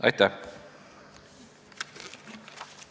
Aitäh!